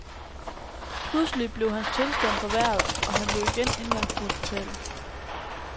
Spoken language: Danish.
Pludselig blev hans tilstand forværret, og han blev igen indlagt på hospitalet.